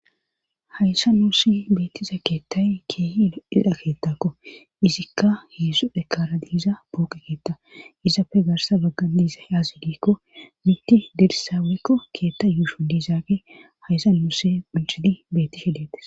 Hayssa nuussi beettiza keettay keehi iidha keettakko izikka heessu dhekara diiza booqe keetta izapfe garsa baggan diisa yaazsidiikko mitti dirisaaweykko keetta yuushu diizaage hayssa nuuse uncidi beettishedetes.